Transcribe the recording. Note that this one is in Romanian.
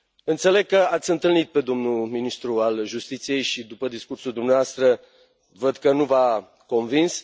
Înțeleg că l ați întâlnit pe domnul ministru al Justiției și, după discursul dumneavoastră, văd că nu v a convins.